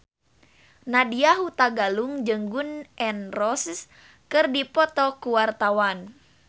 Nadya Hutagalung jeung Gun N Roses keur dipoto ku wartawan